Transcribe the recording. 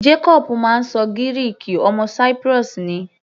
Jacobu máa ń ṣọ Gíríìkì, ọmọ Cyprus ni.